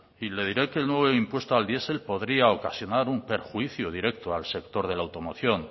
y le diré que el nuevo impuesto al diesel podría ocasionar un perjuicio directo al sector de la automoción